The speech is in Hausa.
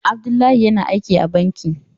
Abdullahi yana aiki a banki.